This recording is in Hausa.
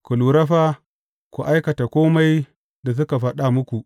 Ku lura fa, ku aikata kome da suka faɗa muku.